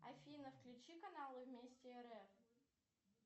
афина включи канал вместе рф